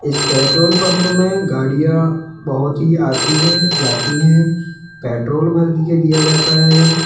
इस petrol pump में गाड़ियां बहुत ही आती हैं जाती हैं पेट्रोल भर दिया दिया जाता है।